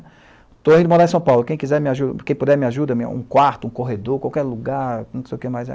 Estou indo morar em São Paulo, quem quiser, quem puder me ajuda, um quarto, um corredor, qualquer lugar, não sei o que mais.